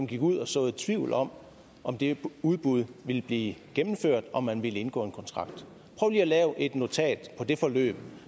gik ud og såede tvivl om om det udbud ville blive gennemført og om man ville indgå en kontrakt prøv lige at lave et notat på det forløb